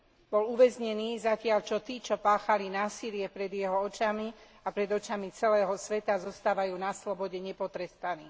Bol uväznený, zatiaľ čo tí, čo páchali násilie pred jeho očami a pred očami celého sveta, zostávajú na slobode nepotrestaní.